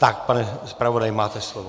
Tak, pane zpravodaji, máte slovo.